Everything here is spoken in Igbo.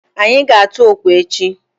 Anyị ga-atụ okwe echi.